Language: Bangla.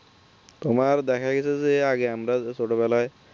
তোমার দেখা গেছে যে আগে আমরা যে ছোটবেলায়